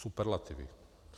Superlativy.